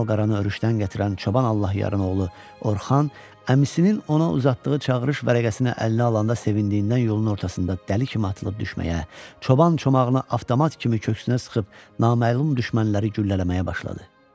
Malqaranı öruşdən gətirən çoban Allahyarın oğlu Orxan əmisinin ona uzatdığı çağırış vərəqəsini əlinə alanda sevindiyindən yolun ortasında dəli kimi atılıb düşməyə, çoban çomağını avtomat kimi köksünə sıxıb naməlum düşmənləri güllələməyə başladı.